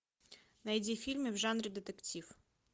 найди фильмы в жанре детектив